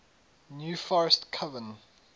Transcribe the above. new forest coven